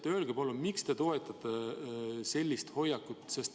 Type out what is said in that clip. Öelge palun, miks te toetate sellist hoiakut.